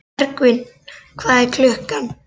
Bergvin, hvað er klukkan?